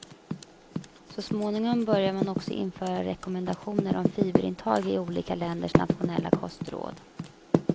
Så småningom börjar man också införa rekommendationer om fiberintag i olika länders nationella kostråd.